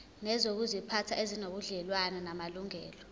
nezokuziphatha ezinobudlelwano namalungelo